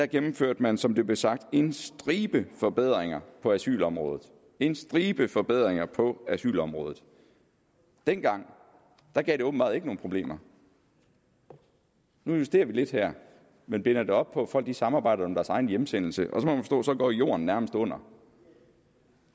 gennemførte man som det blev sagt en stribe forbedringer på asylområdet en stribe forbedringer på asylområdet dengang gav det åbenbart ikke nogen problemer nu justerer vi lidt her men binder det op på at folk samarbejder om deres egen hjemsendelse og så må jorden nærmest går under